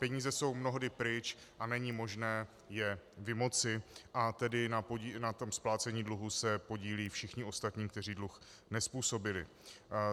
Peníze jsou mnohdy pryč a není možné je vymoci a tedy na tom splácení dluhu se podílí všichni ostatní, kteří dluh nezpůsobili.